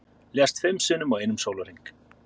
Lést fimm sinnum á einum sólarhring